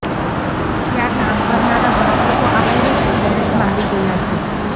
ત્યાં કામ કરનારા સાત લોકો આ વાયરસની ઝપેટમાં આવી ગયા છે